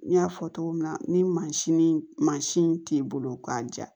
N y'a fɔ cogo min na ni mansin mansin t'i bolo k'a ja